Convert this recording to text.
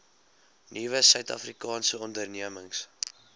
nuwe suidafrikaanse ondernemings